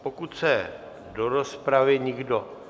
Pokud se do rozpravy nikdo...